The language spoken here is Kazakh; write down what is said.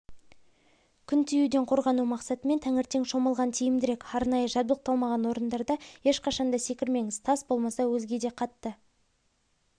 күн тиюден қорғану мақсатымен таңертең шомылған тиімдірек арнайы жабдықталмаған орындарда ешқашанда секірмеңіз тас болмаса өзгеде қатты